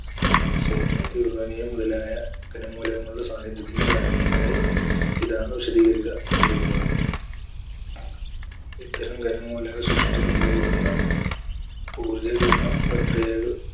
സ്വർണ്ണം, uraniyam മുതലായ ഖനമൂലകങ്ങളുടെ സാന്നിധ്യത്തിന് കാരണമായി ഇതാണ് വിശദീകരിക്കപ്പെട്ടിരിക്കുന്നത്. ഇത്തരം ഖനമൂലകസൃഷ്ടി സംഭവിക്കുന്ന ഊർജ്ജകിരണ പ്രക്രിയകൾ